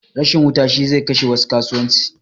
Rashin wuta shi zai kashe wasu kasuwanci